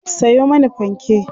Sayo mani fanke!